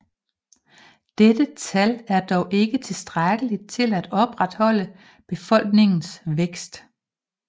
Dette tal er dog ikke tilstrækkelig til at opretholde befolkningens vækst